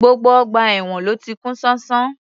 Gbogbo ọgbà èwọ̀n ló ti kún ṣánṣán